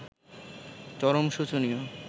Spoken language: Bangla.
চরম শোচনীয়